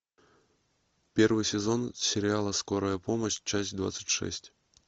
первый сезон сериала скорая помощь часть двадцать шесть